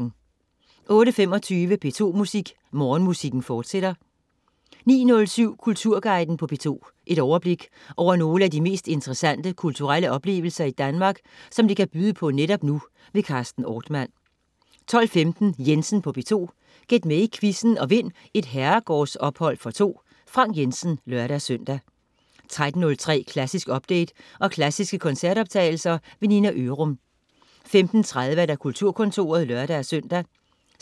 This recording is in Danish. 08.25 P2 Morgenmusik, fortsat 09.07 Kulturguiden på P2. Et overblik over nogle af de mest interessante kulturelle oplevelser Danmark kan byde på netop nu. Carsten Ortmann 12.15 Jensen på P2. Gæt med i quizzen og vind et herregårdsophold for to. Frank Jensen (lør-søn) 13.03 Klassisk update og klassiske koncertoptagelser. Nina Ørum 15.30 Kulturkontoret (lør-søn)